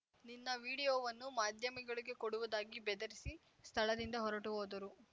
ನಿನ್ನ ವಿಡಿಯೋವನ್ನು ಮಾಧ್ಯಮಗಳಿಗೆ ಕೊಡುವುದಾಗಿ ಬೆದರಿಸಿ ಸ್ಥಳದಿಂದ ಹೊರಟು ಹೋದರು